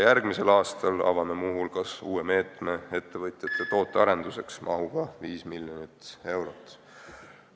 Järgmisel aastal avame muu hulgas uue meetme ettevõtjate tootearenduseks mahuga 5 miljonit eurot.